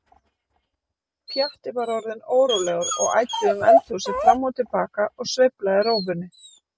Pjatti var orðinn órólegur og æddi um eldhúsið fram og til baka og sveiflaði rófunni.